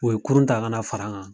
O ye kurun ta ka na fara an kan.